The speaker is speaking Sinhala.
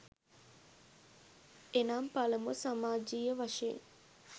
එනම් පළමුව සමාජීය වශයෙන්